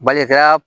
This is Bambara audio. Balikɛya